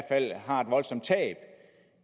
fald har et voldsomt tab